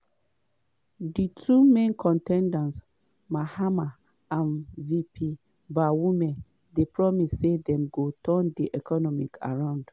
di two main con ten ders mahama and vp bawumia dey promise say dem go turn di economy around.